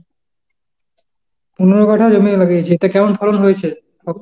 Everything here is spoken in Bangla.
পনেরো কাঠা জমিতে লাগিয়েছিস, তা এতে ফলন কেমন হয়েছে?